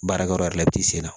Baarakɛyɔrɔ yɛrɛ la i b'i senna